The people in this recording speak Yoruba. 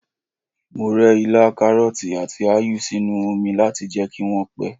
Mo rẹ ilá, karọti, àti áyù sínú oni láti jẹ́ kí wọ́n pẹ́.